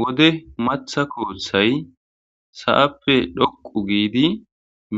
wode matha kooththay sa7appe dhoqu giidi